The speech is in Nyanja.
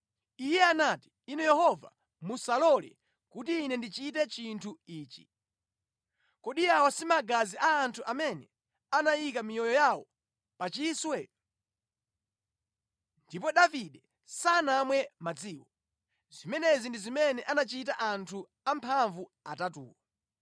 Iye anati, “Inu Yehova, musalole kuti ine ndichite chinthu ichi! Kodi awa si magazi a anthu amene anayika miyoyo yawo pachiswe?” Ndipo Davide sanamwe madziwo. Zimenezi ndi zimene anachita anthu amphamvu atatuwo.